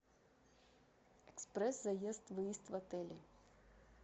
экспресс заезд выезд в отеле